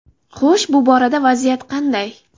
Xo‘sh, bu borada vaziyat qanday?